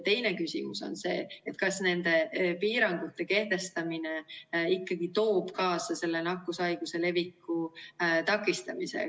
Teine küsimus on see, kas nende piirangute kehtestamine ikkagi toob kaasa selle nakkushaiguse leviku takistamise.